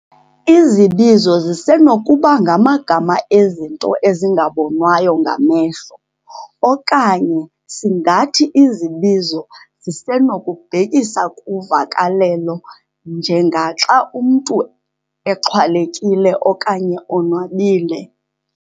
Izibizo zisenokuba ngamagama ezinto ezingabonwayo ngamehlo okanye singathi izibizo zisenokubhekisa kuvakalelo njengaxa umntu exhwalekile okanye onwabile'.